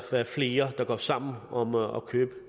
flere der går sammen om at købe